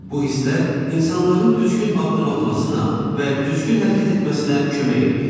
Bu hisslər insanların düzgün addım atmasına və düzgün hərəkət etməsinə kömək eləyir.